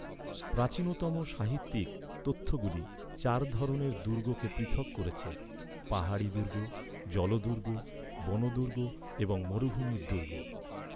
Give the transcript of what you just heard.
প্রাচীনতম সাহিত্যিক তথ্যগুলি চার ধরনের দুর্গকে পৃথক করেছে, পাহাড়ি দুর্গ, জলদুর্গ, বন দুর্গ এবং মরুভূমির দুর্গ।